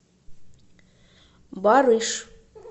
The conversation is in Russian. барыш